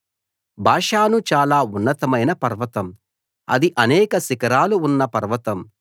బాషాను చాలా ఉన్నతమైన పర్వతం అది అనేక శిఖరాలు ఉన్న పర్వతం